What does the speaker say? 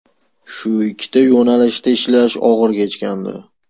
Shu ikkita yo‘nalishda ishlash og‘ir kechgandi.